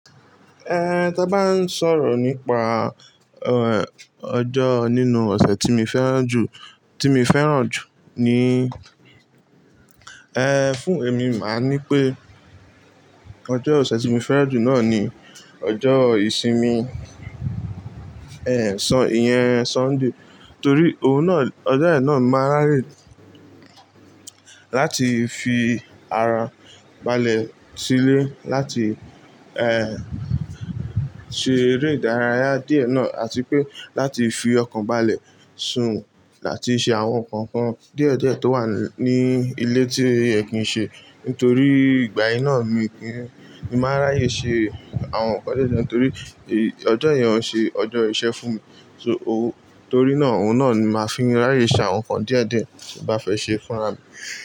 Eh, tí a bá ń sọ̀rọ̀ nípa, ẹẹ, ọjọ́ nínú ọ̀sẹ̀ tí mi fẹ́ràn jù, tí mi fẹ́ràn jù ni, eh, fún èmi màá ní pé ọjọ́ ọ̀sẹ̀ tí mi fẹ́ràn jù náà ni ọjọ́ ìsinmi, eh, iye-- Sunday. Torí oun náà, ọjọ́ yẹn náà máa ráyè láti fi ara balẹ̀ sílé láti, eh, ṣe eré ìdárayá díẹ̀ náà àti pé láti fi ọkàn balẹ̀ sùn láti ṣe àwọn nǹkan kan díẹ̀díẹ̀ tó wà ní ilé tí oyẹ́ kìí ṣe. Nítorí ìgbà yìí náà mi kí, ì máa ráyè ṣe àwọn nǹkan díẹ̀díẹ̀ torí ọjọ́ yẹn ò ṣe ọjọ́ iṣẹ́ fún mi. So, oó, torí náà, òun náà ni màá fi rányè ṣe àwọn nǹkan díẹ̀díẹ̀ tín bàá fẹ́ ṣe fún ara mi.